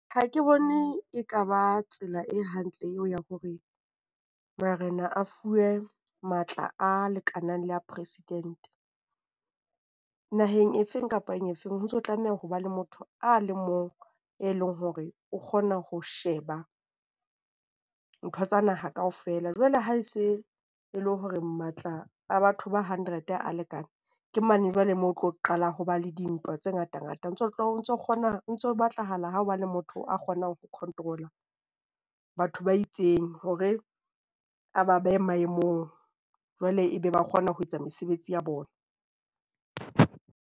Ha ke bone ekaba tsela e hantle eo ya hore marena a fuwe matla a lekanang le a president. Naheng efeng kapa efeng, ho ntso tlameha ho ba le motho a le mong, e leng hore o kgona ho sheba ntho tsa naha kaofela. Jwale ha e se e le hore matla a batho ba hundred a lekane ke mane jwale moo tlo qala ho ba le dintwa tse ngatangata. O ntso kgona ho ntso batlahala ho be le motho a kgonang ho control-a batho ba itseng hore a ba behe maemong, hore jwale ebe ba kgona ho etsa mesebetsi ya bona.